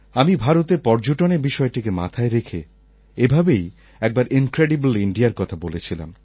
আমি ভারতের পর্যটনের বিষয়টিকে মাথায় রেখে এভাবেই একবার ইন্ক্রেডিবল্ ইণ্ডিয়ার কথা বলেছিলাম